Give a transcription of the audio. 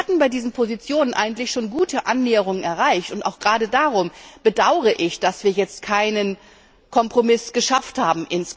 Wir hatten bei diesen Positionen eigentlich schon gute Annäherungen erreicht, und auch gerade darum bedauere ich, dass wir jetzt insgesamt keinen Kompromiss gefunden haben.